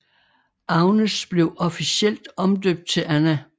Agnes blev officielt omdøbt til Anna